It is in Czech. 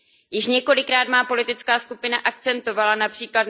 Již několikrát má politická skupina akcentovala např.